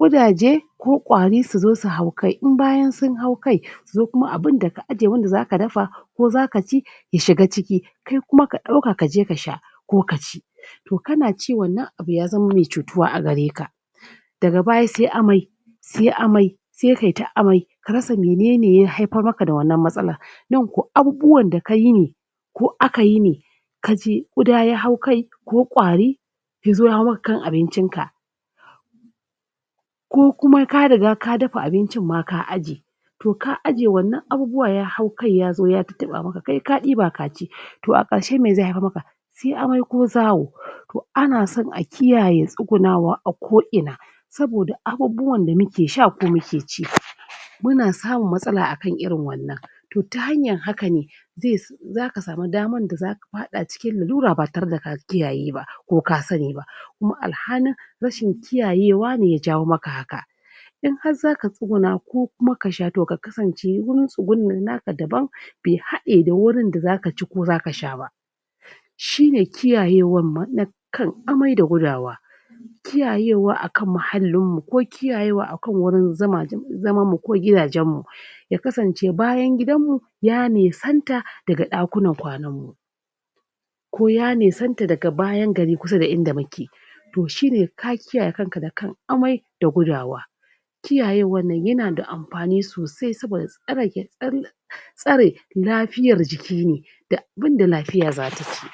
ƙudaje ko ƙwari su zo su hau kai in bayan sun hau kai su zo kuma abunda ka aje wanda zaka dafa ko zaka ci ya shiga ciki ko kuma ka ɗauka kaje ka sha ko ka ci to kana ci wannan abu ya zama me cutuwa a gareka daga baya se amai se amai se kai ta amai ka rasa menene ya haipar maka da wannan matsalan nan ko abubuwan da kayi ne ko akayi ne ka ci ƙuda ya hau kai ko ƙwari yazo ya hau maka kan abincin ka ko kuma ka riga ka dapa abincin ma ka aje to ka aje wannan abubuwa ya hau kai yazo ya tattaɓa maka kai ka ɗiba kaci? to a ƙarshe me ze haipar maka suyi amai ko zawo? ana son a kiyaye tsugunawa a koina saboda abubbuwan da muke sha ko muke ci? muna samun matsala akan irin wannan to ta hanyan hakane zes zaka samu daman da zaka paɗa cikin lalura ba tare da ka kiyaye ba ko ka sani ba kuma alhanin rashin kiyayewa ne ya jawo maka haka in har zaka tsuguna ko kuma ka sha to ka kasance wurin tsugunen naka daban be haɗe da wurin da zaka ci ko zaka sha ba shine kiyayewan ma na kan amai da gudawa kiyayewa akan mahallinmu ko kiyayewa akan wurin zuma zaman mu ko gidajen mu ya kasance bayan gidanmu ya nisanta daga ɗakunan kwanan mu lo ya nisanta daga bayan gari kusa da inda muke to shine ka kiyaye kanka da kan amai da gudawa kiyayewan nan yana da ampani sosai saboda tsare gi? tsare lapiyar jiki ne da abunda lapiya zata ci?